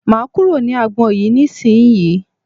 Máa kúrò ní agbọn yìí ní ìsínyì.